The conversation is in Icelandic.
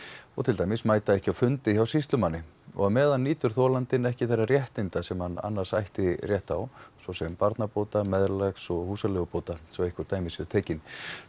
og til dæmis mæta ekki á fundi hjá sýslumanni á meðan nýtur þolandinn ekki þeirra réttinda sem hann annars ætti rétt á svosem barnabóta meðlags og húsaleigubóta svo dæmi séu tekin